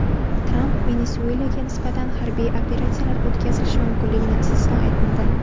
Tramp Venesuelaga nisbatan harbiy operatsiyalar o‘tkazilishi mumkinligini istisno etmadi.